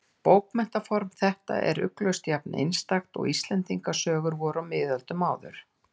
Bókmenntaform þetta er ugglaust jafn-einstakt og Íslendingasögur voru á miðöldum áður.